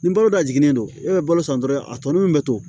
Nin balo da jiginnen don e bɛ balo san dɔrɔn a tɔlo min bɛ to